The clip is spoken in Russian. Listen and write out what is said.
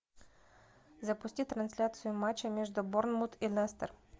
запусти трансляцию матча между борнмут и лестер